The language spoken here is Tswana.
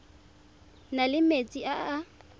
na le metsi a a